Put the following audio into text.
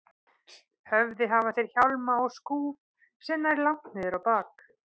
höfði hafa þeir hjálma og skúf sem nær langt niður á bak.